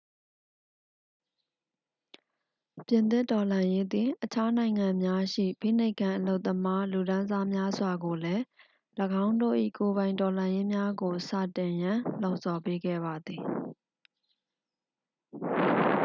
ပြင်သစ်တော်လှန်ရေးသည် အခြားနိုင်ငံများရှိ ဖိနှိပ်ခံ အလုပ်သမားလူတန်းစားများစွာကိုလည်း ၎င်းတို့၏ကိုယ်ပိုင်တော်လှန်ရေးများကိုစတင်ရန် လှုံ့ဆော်ပေးခဲ့ပါသည်